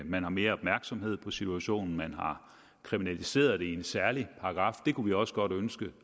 man har mere opmærksomhed på situationen man har kriminaliseret det i en særlig paragraf det kunne vi også godt ønske